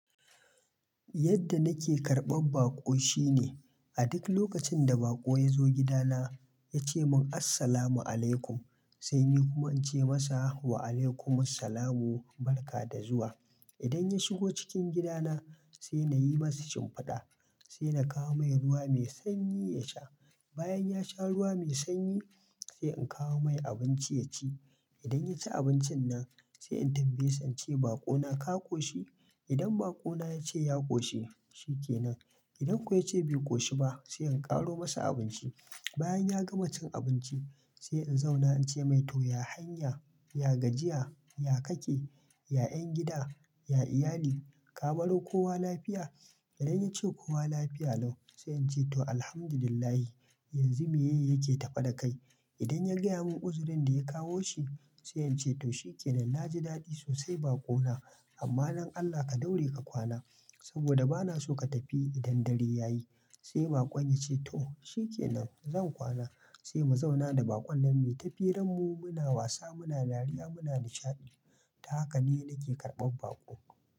Yadda nake karɓan baƙo shine, a duk lokacin da baƙo ya zo gida na yace mun "Assalamu alaikum", sai ni kuma in ce masa "Wa alaikum assalam wa barkada zuwa". Idan ya shigo cikin gida na, sai na yi masa shimfiɗa, sai na kawo mai ruwa mai sanyi ya sha. Bayan ya sha ruwa mai sanyi, sai in kawo mai abinci ya ci. Idan ya ci abincin nan, sai in tambaye sance baƙo na ka koshi? Idan baƙo na ya ce ya koshi, shi ke nan. Idan kuwa ya ce bai koshi ba, sai in ƙaro masa abinci. Bayan ya gama cin abinci, sai in zauna in ce mai "to, ya hanya, ya gajiya, ya kake? Ya en gida, ya iyali, ka baro kowa lafiya?" Idan ya ce kowa lafiya lau, sai in ce "to, Alhamdulillah. Yanzu me ye yake tafe da kai?" Idan ya gaya mun uzurin da ya kawo shi, sai in ce "to, shi ke nan. Na ji daɗi sosai baƙo na. Amma don Allah ka daure ka kwana. Saboda bana so ka tafi idan dare ya yi." Sai baƙon ya ce "to, shi ke nan. Zan kwana." Sai mu zauna da baƙon nan, mu yi ta firar mu, muna wasa, muna dariya, muna nishaɗi. Ta haka ne nake karɓan baƙo.